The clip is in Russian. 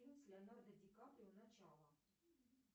фильм с леонардо ди каприо начало